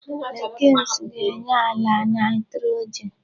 Legumes ga-enye àla nitrogen.